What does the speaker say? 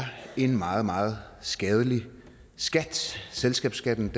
en meget meget skadelig skat selskabsskatten